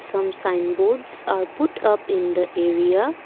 some sign boards are put up in the area.